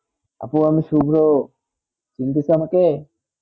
আপু আমি শুভ্র চিন্তেছেন আমাকে?